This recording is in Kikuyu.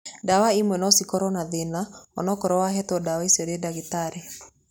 Ndawa imwe no cikorwo na thĩna onokorwo wahetwo ndawa icio nĩ ndagĩtarĩ.